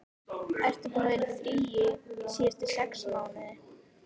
Ertu búinn að vera í fríi síðustu sex mánuði?